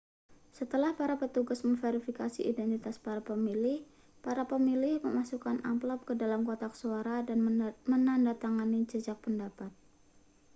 setelah para petugas memverifikasi identitas para pemilih para pemilih memasukkan amplop ke dalam kotak suara dan menandatangani jajak pendapat